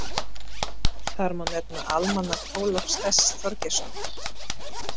Þar má nefna Almanak Ólafs S Þorgeirssonar.